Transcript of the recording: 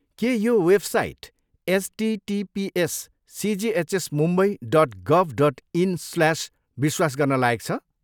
के यो website HTTPS CGHS Mumbai dot गभ dot इन् slash विश्वास गर्न लायक छ?